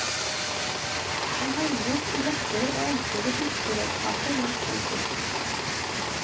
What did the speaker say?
En håndbok i lettere og enklere fiskeredskaper langs vår kyst.